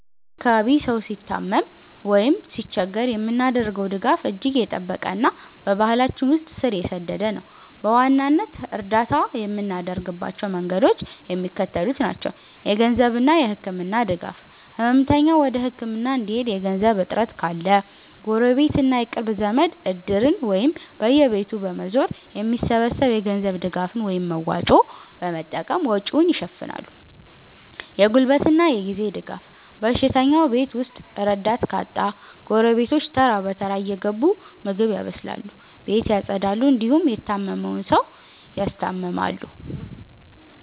በ እኛ አካባቢ ሰው ሲታመም ወይም ሲቸገር የምናደርገው ድጋፍ እጅግ የጠበቀና በባህላችን ውስጥ ስር የሰደደ ነው። በዋናነት እርዳታ የምናደርግባቸው መንገዶች የሚከተሉት ናቸው -የገንዘብና የህክምና ድጋፍ፦ ህመምተኛው ወደ ህክምና እንዲሄድ የገንዘብ እጥረት ካለ፣ ጎረቤትና የቅርብ ዘመድ "እድር"ን ወይም በየቤቱ በመዞር የሚሰበሰብ የገንዘብ ድጋፍን (መዋጮ) በመጠቀም ወጪውን ይሸፍናሉ። የጉልበትና የጊዜ ድጋፍ፦ በሽተኛው ቤት ውስጥ ረዳት ካጣ፣ ጎረቤቶች ተራ በተራ እየገቡ ምግብ ያበስላሉ፣ ቤት ያፀዳሉ እንዲሁም የታመመውን ሰው ያስታምማሉ።